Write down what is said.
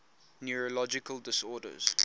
neurological disorders